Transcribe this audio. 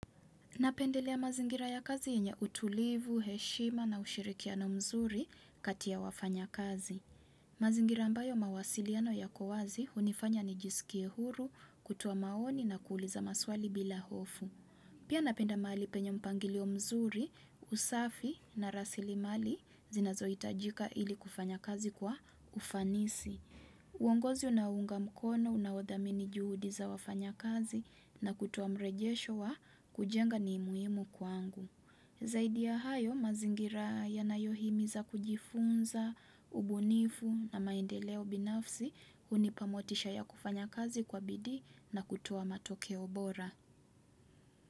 Napendelea mazingira ya kazi yenye utulivu, heshima na ushirikiano mzuri kati ya wafanya kazi. Mazingira ambayo mawasiliano yako wazi hunifanya nijisikie huru kutoa maoni na kuuliza maswali bila hofu. Pia napenda mahali penye mpangilio mzuri, usafi na rasili mali zinazo hitajika ili kufanya kazi kwa ufanisi. Uongozi unaounga mkono, unaodhamini juhudi za wafanya kazi na kutoa mrejesho wa kujenga ni muhimu kwangu. Zaidi ya hayo, mazingira yanayohimiza kujifunza, ubunifu na maendeleo binafsi hunipa motisha ya kufanya kazi kwa bidi na kutoa matokeo bora.